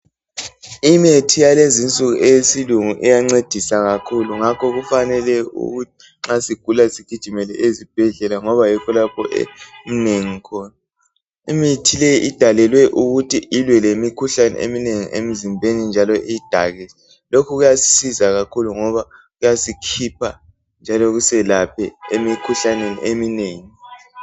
Imithi yalezinsuku eyesilungu iyancedisa kakhulu. Ngakho kufanele ukuthi nxa sigula sigijimele ezibhedlela, ngoba yikho lapha eminengi khona. Imithi le idalelwe ukuthi ilwe lemikhuhlane eminengi emzimbeni, njalo iyidake. Lokhu kuyasisiza kakhulu, njalo kusikhuphe emikhuhlaneni eminengi.